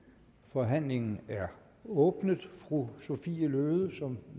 forhandlingen er åbnet fru sophie løhde som